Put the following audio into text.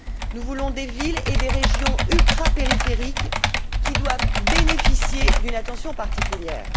Nous voulons des villes et des régions ultrapériphériques qui doivent bénéficier d'une attention particulière.